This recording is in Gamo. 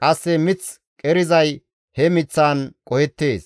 qasse mith qerizay he miththaan qohettees.